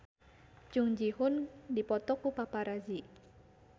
Jung Ji Hoon dipoto ku paparazi